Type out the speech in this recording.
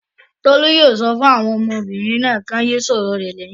Tolú yóò sọ fún àwọn ọmọbìnrin náà kí wọ́n yé sọ̀rọ̀ rẹ̀ lẹ́yìn.